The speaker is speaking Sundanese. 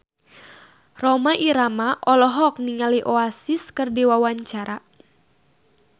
Rhoma Irama olohok ningali Oasis keur diwawancara